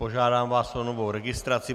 Požádám vás o novou registraci.